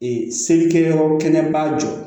Ee selikɛ yɔrɔ kɛnɛba jɔ